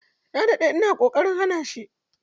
Na dade ina kokarin hana shi.